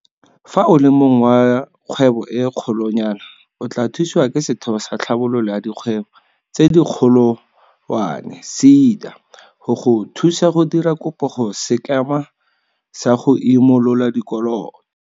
Fa o le mong wa kgwebo e kgolonyana, o tla thusiwa ke Setheo sa Tlhabololo ya Dikgwebo tse Dikgolowane seda go go thusa go dira kopo go Sekema sa go Imo lola Dikoloto.